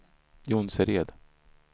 Jonsered